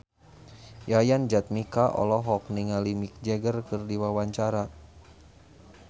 Yayan Jatnika olohok ningali Mick Jagger keur diwawancara